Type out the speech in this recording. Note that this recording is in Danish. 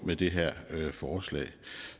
med det her forslag